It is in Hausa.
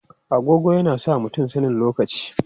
Agogo yana sa mutum sanin lokaci.